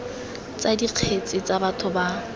tsa dikgetse tsa batho ba